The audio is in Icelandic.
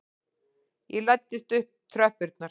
Ég læddist upp tröppurnar.